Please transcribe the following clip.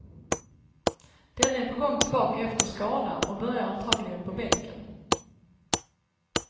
Denne är på gång tillbaka efter skada och börjar antagligen på bänken.